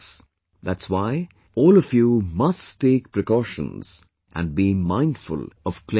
That's why, all of you must take precautions and be mindful of cleanliness